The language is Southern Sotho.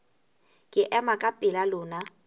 ke ema ka pela lona